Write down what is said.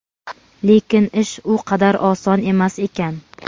lekin ish u qadar oson emas ekan.